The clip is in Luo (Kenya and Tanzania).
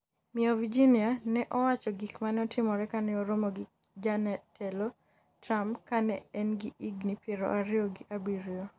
miyo Virginia ne owacho gik mane otimore kane oromo gi jatelo Trump ka ne e gi higni piero ariyo gi abiriyo